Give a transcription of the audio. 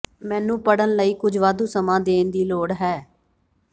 ਮੈਨੂੰ ਪੜ੍ਹਨ ਲਈ ਕੁਝ ਵਾਧੂ ਸਮਾਂ ਦੇਣ ਦੀ ਲੋੜ ਹੈ